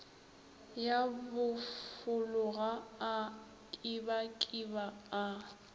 ya bofologa a kibakiba a